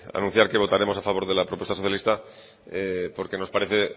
anunciar que votaremos a favor de la propuesta socialista porque nos parece